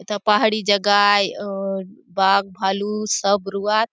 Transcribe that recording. एथा पहाड़ी जगह आय अ बाघभालु सब रहुआत।